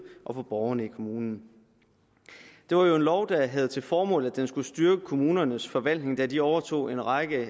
og borgerne i kommunen det var jo en lov der havde til formål at styrke kommunernes forvaltning da de overtog en række